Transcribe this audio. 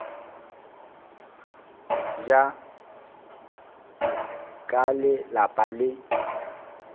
bja ka le lapa le